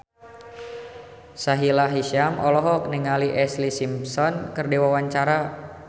Sahila Hisyam olohok ningali Ashlee Simpson keur diwawancara